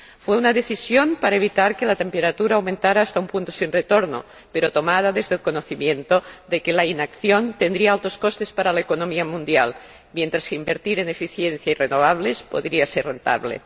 Fue una decisión para evitar que la temperatura aumentara hasta un punto sin retorno, pero tomada desde el conocimiento de que la inacción tendría otros costes para la economía mundial, mientras que invertir en eficiencia y renovables podría ser rentable.